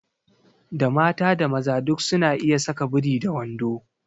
Da mata da maza duk su na iya saka biri da wando